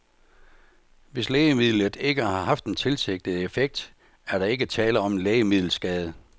Hvis lægemidlet ikke har haft den tilsigtede effekt, er der ikke tale om en lægemiddelskade.